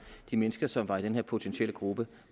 de mennesker som var i denne potentielle gruppe